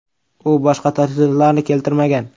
U boshqa tafsilotlarni keltirmagan.